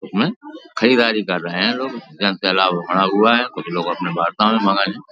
इसमें खरीदारी कर रहे हैं लोग। जन सैलाव बढ़ा हुआ है कुछ लोग अपने वार्ता में मगन है।